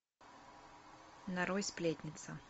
нарой сплетница